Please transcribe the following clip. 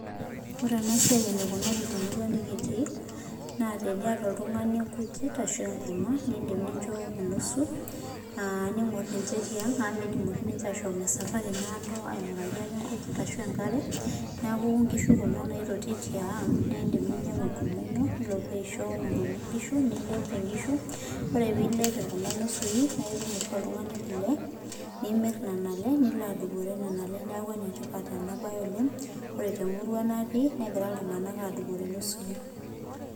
Ore ena siai eneikunari temurwa nekitii naa teniata oltung'ani inkujit ashu enkurma niindim nincho nusu, niing'orr ninche tiang' amu meidim ninche aashom esapari naado aing'uraki ate inkujit ashu enkare. Neeku inkishu kuna naitotiy tiang niindim niindim ninyang'u enkurma ino aisho enkurma inkishu nintobir inkishu. Oree piilep kuna nusui naitum oshi oltung'ani kule nimirr nena ale nilo adupore nena ale niaku enetipat ena bae oleng. Ore temurwa natii negira iltung'anak aadupore inusui